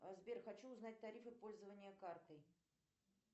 сбер хочу узнать тарифы пользования картой